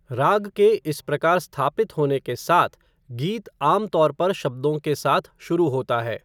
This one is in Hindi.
राग के इस प्रकार स्थापित होने के साथ, गीत आमतौर पर शब्दों के साथ शुरू होता है।